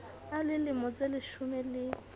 a le lemo tseleshome le